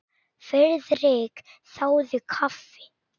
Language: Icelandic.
Friðrik þáði kaffi.